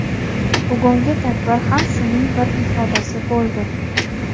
Bugungi tadbir ham shuning bir ifodasi boʼldi.